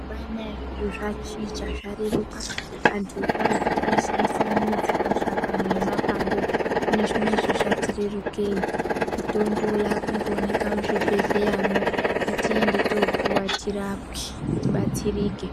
Mazuwanaya zviro zvachinja zvareruka antu ekaretu aishandisa midzi, mashakani nemapande hino zvinezvi zvatirerukei mitombo yakungooneka muzvibhedhleramwo ngatiende topuwa tirapwe tibatsirike.